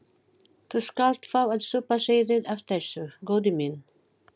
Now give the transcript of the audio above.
Þú skalt fá að súpa seyðið af þessu, góði minn.